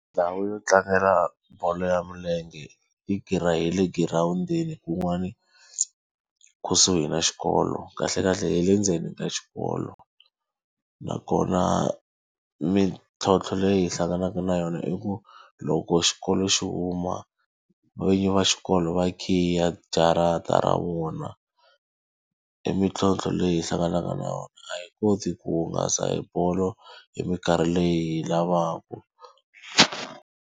Ndhawu yo tlangela bolo ya milenge i ya le girawundini kun'wani kusuhi na xikolo, kahlekahle hi le ndzeni ka xikolo. Nakona mintlhotlho leyi hi hlanganaka na yona i ku loko xikolo xi huma, vinyi va xikolo va khiya jarata ra vona. I mintlhotlho leyi hlanganaka na yona, a hi koti ku hungasa hi bolo hi minkarhi leyi hi yi lavaka.